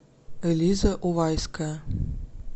элиза увайская